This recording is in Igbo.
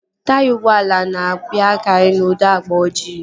Taya ụgbọala na-abịakari n'ụdị agba ojii